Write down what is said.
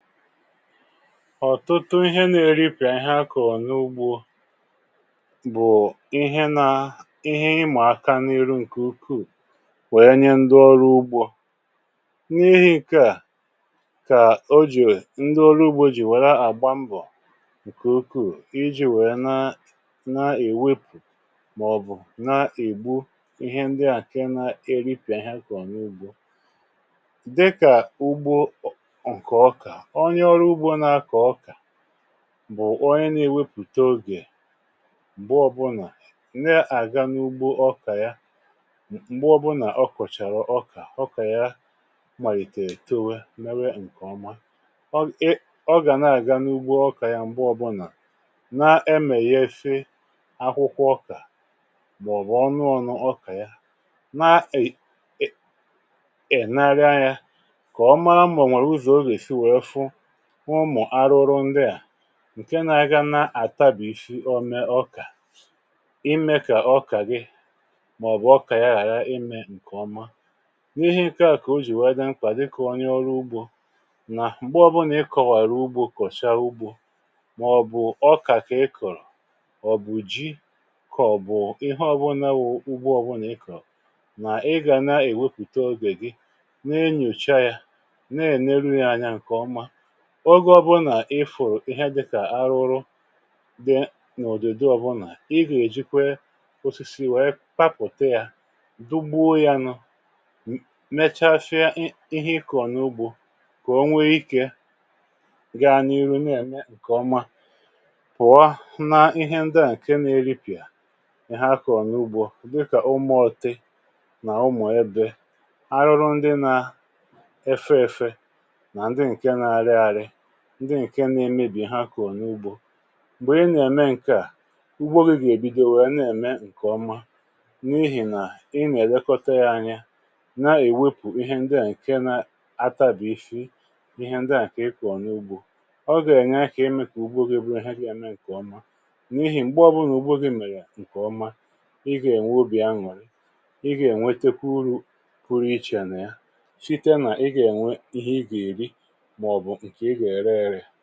ọ̀tụtụ ihe na-eripị̀ ahịa kọ̀rọ̀ n’ugbȯ bụ̀ ihe na-emà aka n’iru, ǹkè ukwuù, nwèe nye ndị ọrụ ugbȯ. n’ihi ǹke à, kà o jì, ndị ọrụ ugbȯ jì nwère àgba mbọ̀ ǹkè ukwuù iji̇ nwèe na na-èwepù, màọ̀bụ̀ na-ègbu ihe ndị àkè na-eripị̀ ahịa kọ̀rọ̀ n’ugbȯ. onye ọrụ ugbȯ na-akọ̀ ọkà bụ̀ onye n’iwepùte ogè, m̀gbe ọbụnà ǹde àga n’ugbȯ ọkà ya. m̀gbe ọbụnà ọ kọ̀chàrà ọkà, ọkà ya nwèrè itowe m̀mewe ǹkọ̀ọma, ọ gà na-àganu ugbȯ ọkà ya, m̀gbe ọbụnà na-emè ya ese akwụkwọ. ọkà bụ̀ ọṅụ̇, ọṅụ̇ ọ̀nụ, ọkà ya na-ènye ẹ̀nẹrẹ ya kà ọma, mà ọ nwèrè ụzọ̀ ogè sì wèe fụ ụmụ̀ arụrụrụ ndịà ǹke n’aga n’àtabìfị̀ ome ọkà, imė kà ọkà gị, màọ̀bụ̀ ọkà ya, ghàra imė ǹkè ọma. n’ihe aka kà o jì wee dịȧ nkwà dịkà onye ọrụ ugbȯ, nà m̀gbe ọbụlà ị kọ̀wàrà ugbȯ, kọ̀chaa ugbȯ, màọ̀bụ̀ ọkà kà ị kọ̀rọ̀, ọ̀ bụ̀ ji kọ̀, bụ̀ ihe ọbụlà, ụgbọ ọbụlà ị kọ̀rọ̀, nà ị gà na-èwepùte ogè gị, na-enyocha yȧ, na-èneru ya anyȧ ǹkè ọma. oge ọbụlà, ifùrù ihe dịkà arụrụ dị n’ụ̀dịdị ọbụlà, ị gà-èjikwe osisi wee papùte ya, dugbuu ya nụ, mechafịa ihe ịkọ̀ n’ugbȯ, kà onwe ikė gaa n’ihu, na-ème ǹkè ọma. pụ̀wa na ihe ndịa ǹke na-eripịà ihe akọ̀ n’ugbȯ, dịkà umùọ̀tị nà umù ebė, arụrụ ndị nà efe efe, ndị ǹke na-emebì ha kà ọ̀ n’ugbȯ, m̀gbè ị nà-ème ǹkè à, ugbo gị̇ gà-èbido, nwèrè na-ème ǹkè ọma. n’ihi nà ị nà-èmekọta ya anya, na-èwepù ihe ndịà ǹke na ata bì ifi ihe ndị à kà ị kọ̀ n’ugbȯ, ọ gà-ànya kà ime kà ugbȯ gị̇ bù na ihe gà-ème ǹkè ọma. n’ihì m̀gbè ọbụrụ nà ugbȯ gị̇ mèrè ǹkè ọma, ị gà-ènwe obì aṅụ̀rị, ị gà-ènwetekwu urù pụrụ iche nà ya, enyiè ree sale.